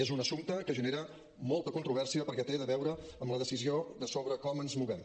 és un assumpte que genera molta controvèrsia perquè té a veure amb la decisió sobre com ens movem